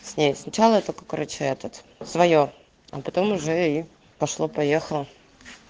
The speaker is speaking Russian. с ней сначала я это короче этот своё а потом уже и пошло-поехало